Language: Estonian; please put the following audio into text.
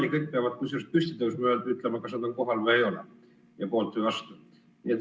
Ja kõik peavad püsti tõusma ja ütlema, kas nad on kohal või ei ole ja kas nad on poolt või vastu.